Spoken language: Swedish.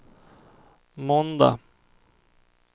måndag